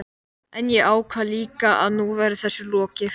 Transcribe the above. En ég ákvað líka að nú væri þessu lokið.